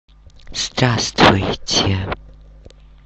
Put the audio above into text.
здравствуйте